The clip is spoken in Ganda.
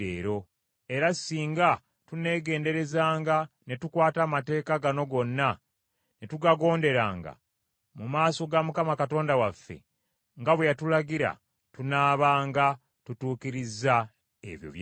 Era singa tuneegenderezanga ne tukwata amateeka gano gonna ne tugagonderanga, mu maaso ga Mukama Katonda waffe, nga bwe yatulagira, tunaabanga tutuukirizza ebyo by’ayagala.’ ”